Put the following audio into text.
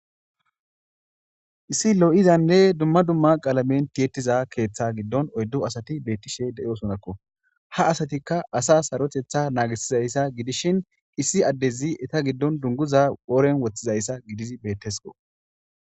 issi lo7izanne dumma dumma qaalamen tiyetiza keeththe giddon oyddu asati bettishe deyo sonakko ha asatikka asa sarotetha naagisizayssa gidishin issi addezi eta giddon dunguza ooren woththizayssa gidizi bettesko